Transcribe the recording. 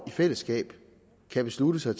i fællesskab kan beslutte sig